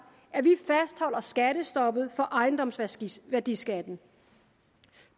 at vi fastholder skattestoppet for ejendomsværdiskatten